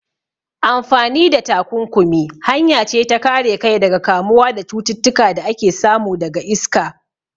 Amfani da takunkumi hanya ce ta kare kai daga kamuwa da cututtuka da ake samu daga iska.